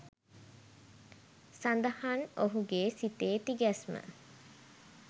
සඳහන් ඔහුගේ සිතේ තිගැස්ම